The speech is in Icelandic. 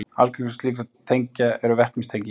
Algengust slíkra tengja eru vetnistengi.